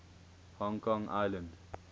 hong kong island